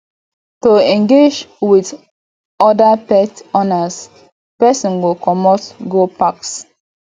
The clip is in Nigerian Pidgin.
to engage with oda pet owners person go comot go packs